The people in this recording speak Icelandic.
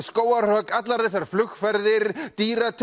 skógarhögg allar þessar flugferðir